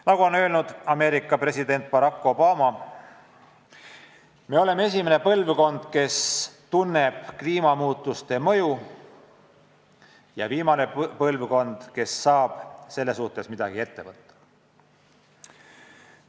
Nagu on öelnud Ameerika president Barack Obama: "Me oleme esimene põlvkond, kes tunneb kliimamuutuste mõju, ja viimane põlvkond, kes saab selle suhtes midagi ette võtta.